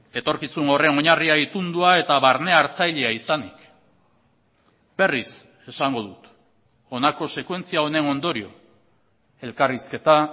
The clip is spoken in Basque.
etorkizun horren oinarria itundua eta barne hartzailea izanik berriz esango dut honako sekuentzia honen ondorio elkarrizketa